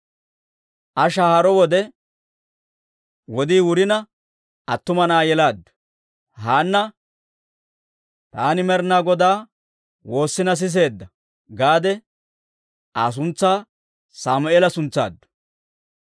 Aa shahaaro wode wodii wurina attuma na'aa yelaaddu. Haanna, «Taani Med'inaa Godaa woossina siseedda» gaade Aa suntsaa Saamue'eela suntsaaddu.